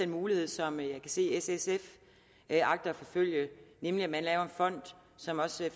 mulighed som jeg kan se at s sf agter at forfølge nemlig at man laver en fond som også